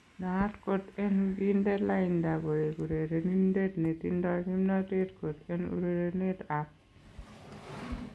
Naat kot en kinde lainda koek urerenindet netindo kimnatet kot en urerenet ab